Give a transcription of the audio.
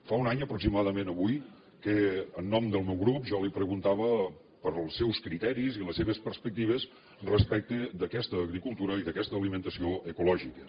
fa un any aproximadament avui que en nom del meu grup jo li preguntava pels seus criteris i les seves perspectives respecte d’aquesta agricultura i d’aquesta alimentació ecològiques